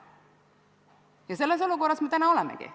Ja selles olukorras me täna olemegi.